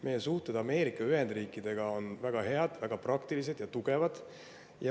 Meie suhted Ameerika Ühendriikidega on väga head, väga praktilised ja tugevad.